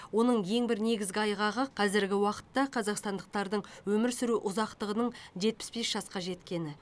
оның ең бір негізгі айғағы қазіргі уақытта қазақстандықтардың өмір сүру ұзақтығының жетпіс бес жасқа жеткені